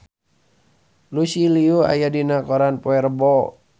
Lucy Liu aya dina koran poe Rebo